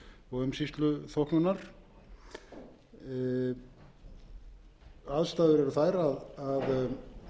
núverandi skilagjalds og umsýsluþóknunar aðstæður eru þær að ekki næst að